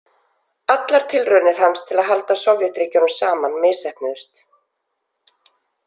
Allar tilraunir hans til að halda Sovétríkjunum saman misheppnuðust.